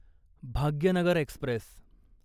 Bhagyanagar Express